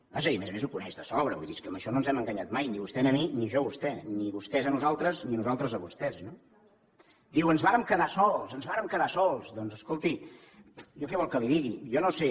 vaja i a més a més ho coneix de sobra vull dir és que amb això no ens hem enganyat mai ni vostè a mi ni jo a vostè ni vostès a nosaltres ni nosaltres a vostès no diu ens vàrem quedar sols ens vàrem quedar sols doncs escolti jo què vol que li digui jo no sé